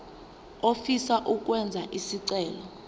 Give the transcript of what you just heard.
ofisa ukwenza isicelo